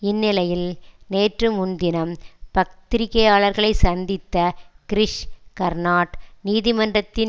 இந்நிலையில் நேற்று முன்தினம் பத்திரிகையாளர்களை சந்தித்த கிரிஷ் கர்னாட் நீதிமன்றத்தின்